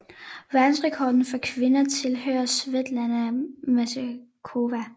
Verdensrekorden for kvinder tilhører Svetlana Masterkova